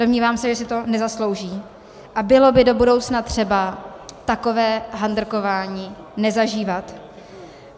Domnívám se, že si to nezaslouží a bylo by do budoucna třeba takové handrkování nezažívat.